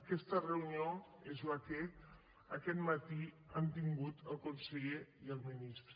aquesta reunió és la que aquest matí han tingut el conseller i el ministre